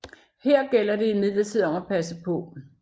Her gælder det imidlertid om at passe paa